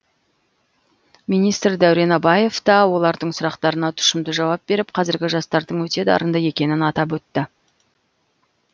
министр дәурен абаев та олардың сұрақтарына тұшымды жауап беріп қазіргі жастардың өте дарынды екенін атап өтті